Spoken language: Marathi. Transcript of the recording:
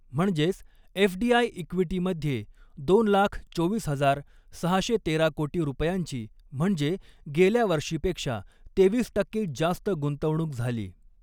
म्हणजेच, एफडीआय ईक़्विटीमध्ये दोन लाख चोवीस हजार सहाशे तेरा कोटी रुपयांची म्हणजे गेल्या वर्षीपेक्षा तेवीस टक्के जास्त गुंतवणूक झाली.